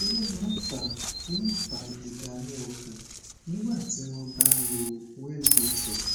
kí ló máa ń fa ń fa ìdààmú ọkàn nígbà tí wọn bá ń lo wellbutrin